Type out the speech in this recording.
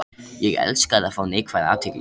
Ég elskaði að fá neikvæða athygli.